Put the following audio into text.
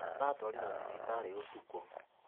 Aratwarirwo thibitarĩ ũtukũ.